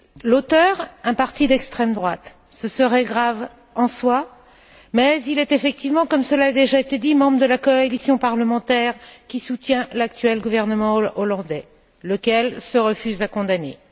L'auteur est un parti d'extrême droite cela serait grave en soi mais il est effectivement, comme cela a déjà été dit, membre de la coalition parlementaire, qui soutient l'actuel gouvernement néerlandais, lequel se refuse à condamner.